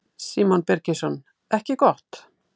Símon Birgisson: Ekki gott?